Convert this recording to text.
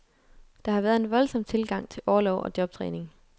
Der har været en voldsomt tilgang til orlov og jobtræning.